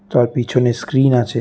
তার পিছনে স্ক্রীন আছে।